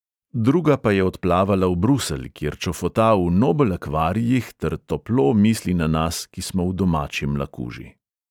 Druga pa je odplavala v bruselj, kjer čofota v nobel akvarijih ter toplo misli na nas, ki smo v domači mlakuži.